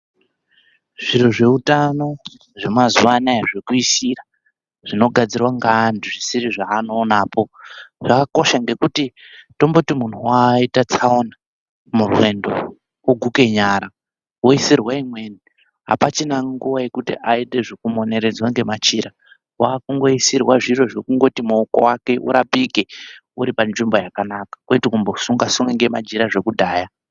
Zviro zvehutano zvemazuva anaya zvekuisira zvinogadzirwa neantu zvisiri zvaanowonapo zvakakosha ngekuti tomboti munhu waita tsaona murwendo oguke nyara oyisirwe imweni, hapachina nguva yekuti aite zvekumoneredzwa ngemachira ,waakungoisirwa zviro zvekungoti maoko ake urapike uripanzvimbo yakanaka, kwete kumbosunga sunga ngemachira zvekudhaya.